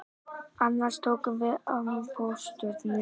Annars tókum við mið af Pólstjörnunni